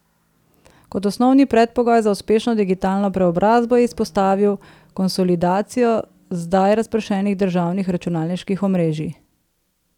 Kot osnovni predpogoj za uspešno digitalno preobrazbo je izpostavil konsolidacijo zdaj razpršenih državnih računalniških omrežij.